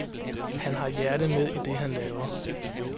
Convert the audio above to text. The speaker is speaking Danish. Han har hjertet med i det han laver.